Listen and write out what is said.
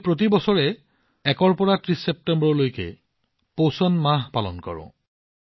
আমি প্ৰতি বছৰে ১ ৰ পৰা ৩০ ছেপ্টেম্বৰলৈ পোষণ মাহ উদযাপন কৰোঁ